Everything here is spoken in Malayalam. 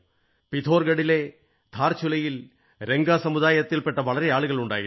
പിഥോർഗഡിലെ ധാർചുലയിൽ രംഗ സമുദായത്തിൽപെട്ട വളരെ ആളുകളുണ്ടായിരുന്നു